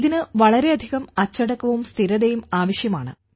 ഇതിന് വളരെയധികം അച്ചടക്കവും സ്ഥിരതയും ആവശ്യമാണ്